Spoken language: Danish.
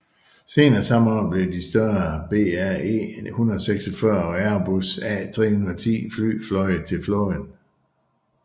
Senere samme år blev de større BAe 146 og Airbus A310 fly føjet til flåden